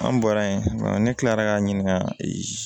An bɔra yen ne kilara k'an ɲininka